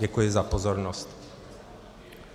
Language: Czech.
Děkuji za pozornost.